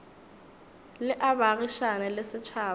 le a baagišane le setšhaba